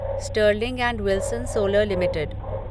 Stirling and Wilson Solar limited